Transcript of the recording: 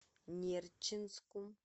нерчинску